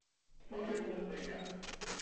вупи голдберг